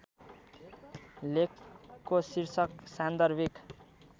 लेखको शीर्षक सान्दर्भिक